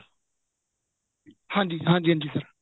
ਹਾਂਜੀ ਹਾਂਜੀ ਹਾਂਜੀ sir